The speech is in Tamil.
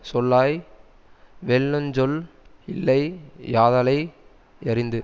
சொல்லாய் வெல்லுஞ் சொல் இல்லை யாதலை யறிந்து